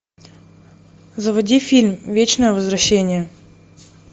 заводи фильм вечное возвращение